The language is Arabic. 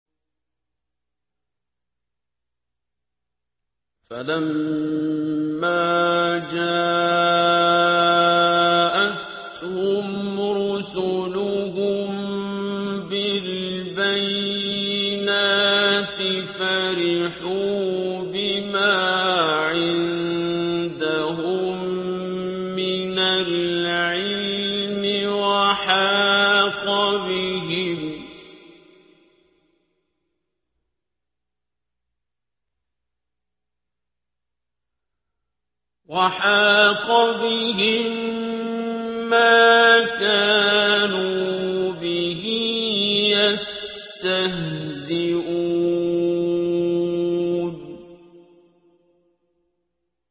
فَلَمَّا جَاءَتْهُمْ رُسُلُهُم بِالْبَيِّنَاتِ فَرِحُوا بِمَا عِندَهُم مِّنَ الْعِلْمِ وَحَاقَ بِهِم مَّا كَانُوا بِهِ يَسْتَهْزِئُونَ